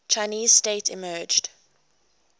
chinese state emerged